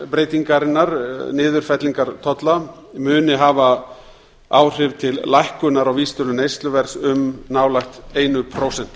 breytingarinnar niðurfellingar tolla muni hafa áhrif til lækkunar á vísitölu neysluverðs um nálægt eitt prósent